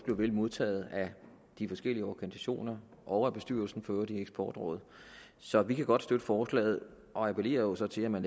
vel modtaget af de forskellige organisationer og af bestyrelsen i eksportrådet så vi kan godt støtte forslaget og appellerer jo så til at man